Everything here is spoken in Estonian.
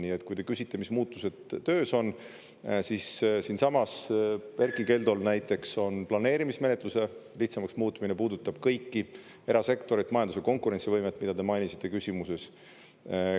Nii et kui te küsite, mis muutused töös on, siis siinsamas Erkki Keldol näiteks on planeerimismenetluse lihtsamaks muutmine, puudutab kõiki – erasektorit, majanduse konkurentsivõimet, mida te mainisite küsimuses.